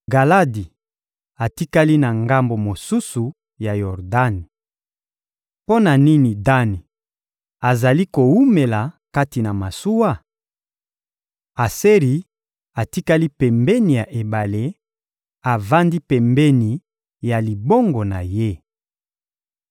Galadi atikali na ngambo mosusu ya Yordani. Mpo na nini Dani azali kowumela kati na masuwa? Aseri atikali pembeni ya ebale, avandi pembeni ya libongo na ye.